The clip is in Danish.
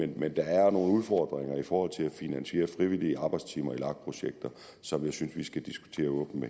men der er nogle udfordringer i forhold til at finansiere frivillige arbejdstimer i lag projekter som jeg synes vi skal diskutere åbent